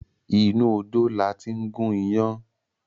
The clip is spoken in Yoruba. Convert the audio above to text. Inú odó la tí ń gún iyán